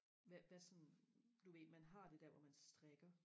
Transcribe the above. hvad hvad sådan du ved man har det der hvor man strikker